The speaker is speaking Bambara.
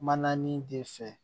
Maana nin de fɛ